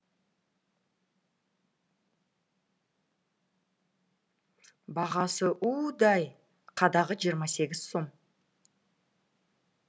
бағасы удай қадағы жиырма сегіз сом